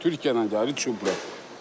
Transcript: Bu Türkiyədən gəlir, çupra.